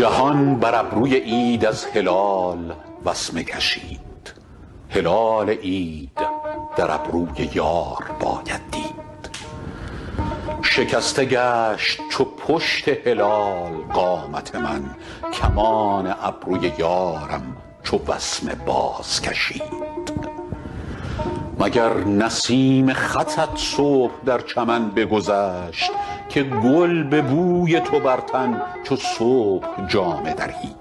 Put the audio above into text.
جهان بر ابروی عید از هلال وسمه کشید هلال عید در ابروی یار باید دید شکسته گشت چو پشت هلال قامت من کمان ابروی یارم چو وسمه بازکشید مگر نسیم خطت صبح در چمن بگذشت که گل به بوی تو بر تن چو صبح جامه درید